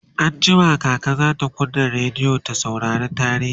anjima kaka zata kunna rediyo ta saurari tarihi